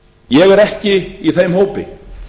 ég er ekki í þeim hópi